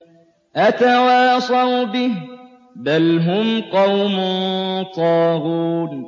أَتَوَاصَوْا بِهِ ۚ بَلْ هُمْ قَوْمٌ طَاغُونَ